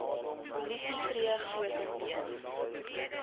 polisie tree grotendeels